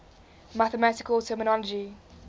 mathematical terminology